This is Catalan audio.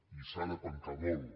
i s’ha de pencar molt